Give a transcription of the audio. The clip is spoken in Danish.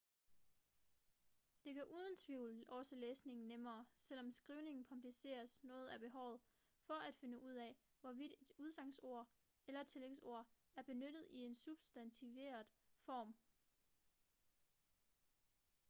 det gør uden tvivl også læsning nemmere selvom skrivning kompliceres noget af behovet for at finde ud af hvorvidt et udsagnsord eller tillægsord er benyttet i en substantiveret form